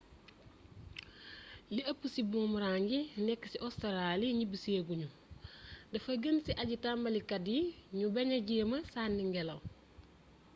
li ëpp ci boomrang yi nekk ci ostaraali ñibisee guñu dafa gën ci aji-tambalikat yi ñu baña jéema sanni ngélaw